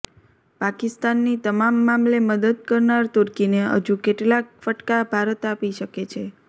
પાકિસ્તાનની તમામ મામલે મદદ કરનાર તુર્કીને હજુ કેટલાક ફટકા ભારત આપી શકે છે